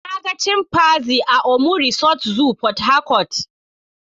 Na ga chimpanzee a Omu Resort Zoo Portharcourt.